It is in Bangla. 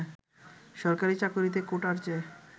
সরকারি চাকুরীতে কোটার চেয়ে